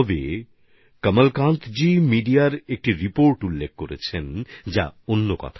এ কমলকান্তজি সংবাদ মাধ্যমের একটা রিপোর্ট শেয়ার করেছেন যা কিছুটা অন্যরকম কথা বলে